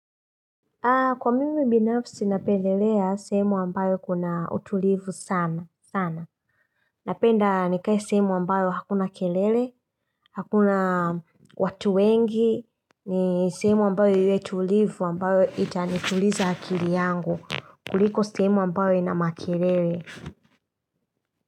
Kwa mimi binafsi napendelea sehemu ambayo kuna utulivu sana sana. Napenda nikae sehemu ambayo hakuna kelele, hakuna watu wengi. Ni sehemu ambayo ile tulivu ambayo itanituliza hakili yangu. Kuliko sehemu ambayo ina makelele.